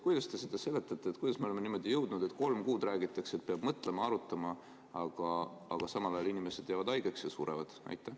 Kuidas te seda seletate, miks me oleme sinnamaale jõudnud, et kolm kuud räägitakse, et peab mõtlema ja arutama, aga samal ajal inimesed jäävad haigeks ja surevad?